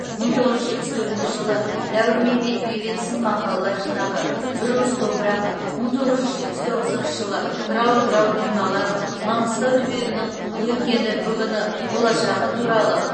мың тоғыз жүз жетпіс төртінші жылы дәуірмен бетпе бет сын мақалалар жинағы бір уыс топырақ мың тоғыз жүз жетпіс тоғызыншы жылы тырау тырау тырналар маңғыстау түбегінің өткені бүгіні болашағы туралы